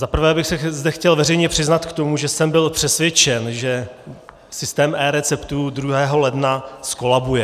Za prvé bych se zde chtěl veřejně přiznat k tomu, že jsem byl přesvědčen, že systém eReceptů 2. ledna zkolabuje.